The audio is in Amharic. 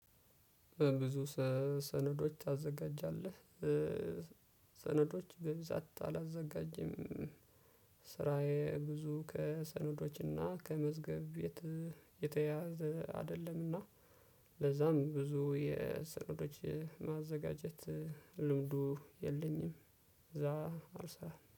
"በብዙ ሰ ሰነዶች ታዘጋጃለህ?" ሰነዶች በብዛት አላዘጋጅም። ስራዬ ብዙ ከሰነዶችና ከመዝገብ ቤት የተያያዘ አይደለም እና ለዛም ብዙ የሰነዶች ማዘጋጀት ልምዱ የለኝም፣ እዛ አልሰራም።